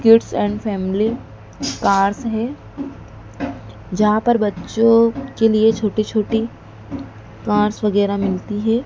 Kids and family cars हैं जहां पर बच्चों के लिए छोटे छोटी कार्स वैगैरह मिलती हैं।